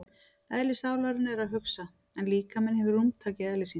Eðli sálarinnar er að hugsa en líkaminn hefur rúmtak í eðli sínu.